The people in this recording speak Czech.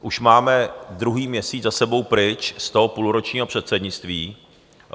Už máme druhý měsíc za sebou pryč z toho půlročního předsednictví.